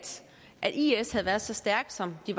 at is havde været så stærke som de